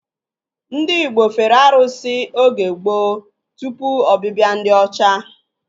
Ndị igbo fere arụsị oge gboo tụpụ ọbịbịa ndị ọcha